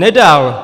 Nedal.